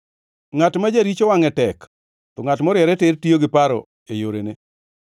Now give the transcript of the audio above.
Ngʼat ma jaricho wangʼe tek to ngʼat moriere tir tiyo gi paro e yorene.